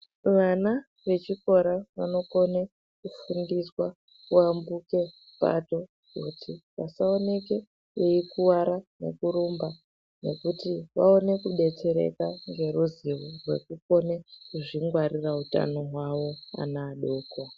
Vana vechikora vanokone kufundiswa kuyambuka pato kuti pasaoneke veikuwara nekurumba nekuti vaone kidetsereka ngeruzivo rwekukone kuzvingwarira utano hwavo ana adoko.